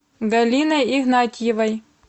галиной игнатьевой